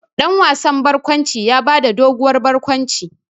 Dan wasan barkwanci ya ba da doguwar barkwanci.